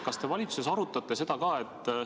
Kas te valitsuses arutate seda?